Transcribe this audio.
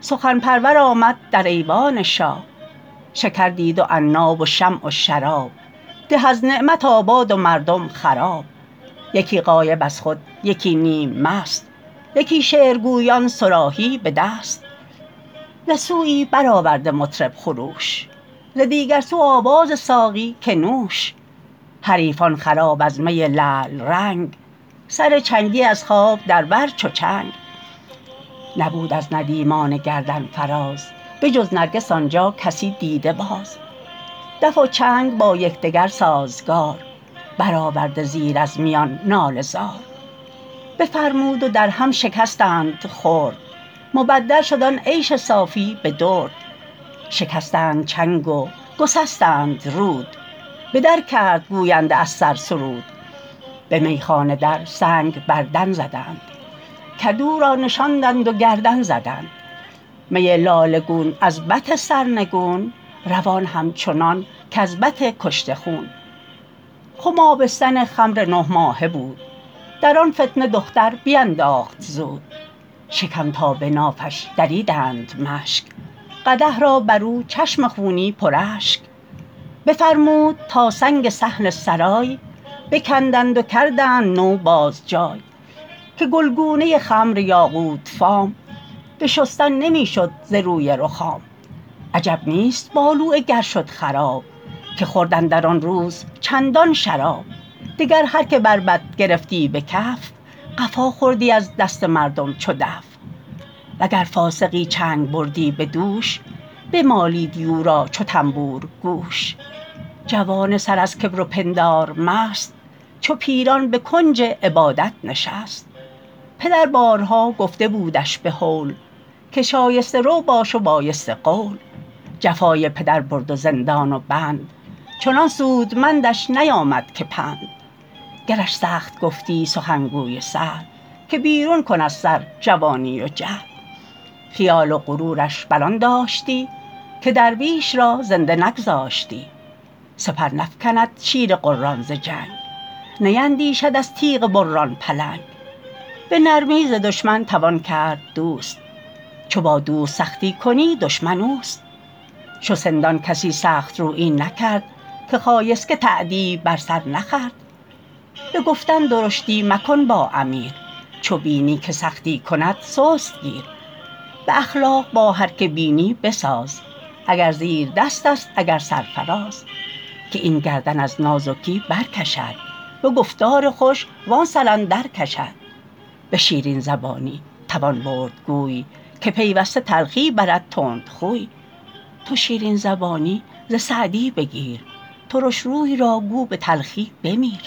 سخن پرور آمد در ایوان شاه شکر دید و عناب و شمع و شراب ده از نعمت آباد و مردم خراب یکی غایب از خود یکی نیم مست یکی شعر گویان صراحی به دست ز سویی بر آورده مطرب خروش ز دیگر سو آواز ساقی که نوش حریفان خراب از می لعل رنگ سر چنگی از خواب در بر چو چنگ نبود از ندیمان گردن فراز به جز نرگس آن جا کسی دیده باز دف و چنگ با یکدگر سازگار بر آورده زیر از میان ناله زار بفرمود و در هم شکستند خرد مبدل شد آن عیش صافی به درد شکستند چنگ و گسستند رود به در کرد گوینده از سر سرود به میخانه در سنگ بر دن زدند کدو را نشاندند و گردن زدند می لاله گون از بط سرنگون روان همچنان کز بط کشته خون خم آبستن خمر نه ماهه بود در آن فتنه دختر بینداخت زود شکم تا به نافش دریدند مشک قدح را بر او چشم خونی پر اشک بفرمود تا سنگ صحن سرای بکندند و کردند نو باز جای که گلگونه خمر یاقوت فام به شستن نمی شد ز روی رخام عجب نیست بالوعه گر شد خراب که خورد اندر آن روز چندان شراب دگر هر که بربط گرفتی به کف قفا خوردی از دست مردم چو دف وگر فاسقی چنگ بردی به دوش بمالیدی او را چو طنبور گوش جوان سر از کبر و پندار مست چو پیران به کنج عبادت نشست پدر بارها گفته بودش به هول که شایسته رو باش و پاکیزه قول جفای پدر برد و زندان و بند چنان سودمندش نیامد که پند گرش سخت گفتی سخنگوی سهل که بیرون کن از سر جوانی و جهل خیال و غرورش بر آن داشتی که درویش را زنده نگذاشتی سپر نفکند شیر غران ز جنگ نیندیشد از تیغ بران پلنگ به نرمی ز دشمن توان کرد دوست چو با دوست سختی کنی دشمن اوست چو سندان کسی سخت رویی نکرد که خایسک تأدیب بر سر نخورد به گفتن درشتی مکن با امیر چو بینی که سختی کند سست گیر به اخلاق با هر که بینی بساز اگر زیردست است اگر سرفراز که این گردن از نازکی بر کشد به گفتار خوش و آن سر اندر کشد به شیرین زبانی توان برد گوی که پیوسته تلخی برد تندخوی تو شیرین زبانی ز سعدی بگیر ترش روی را گو به تلخی بمیر